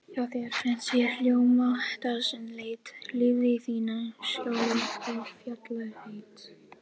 Hjá þér fyrst ég ljóma dagsins leit, lifði í þínu skjóli og fjallareit.